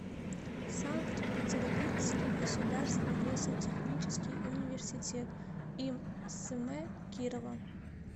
санкт петербургский государственный лесотехнический университет им см кирова